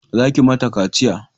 Za ki ma ta kaciya!